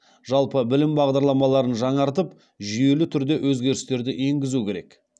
жалпы білім бағдарламаларын жаңартып жүйелі түрде өзгерістерді енгізу керек